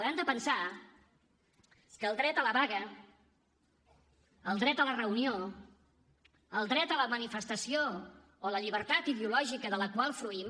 hem de pensar que el dret a la vaga el dret a la reunió el dret a la manifestació o la llibertat ideològica de la qual fruïm